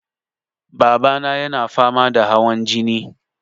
Babana yana fama da hawan jini.